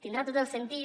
tindrà tot el sentit